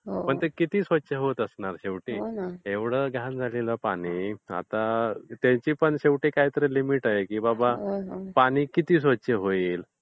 तर ते किती स्वच्छ होत असणार शेवटी एवढं घाण झालेलं पाणी आता त्यांची पण शेवटी काहीतरी लिमिट आहे की बाबा पाणी किती स्वच्छ होईल.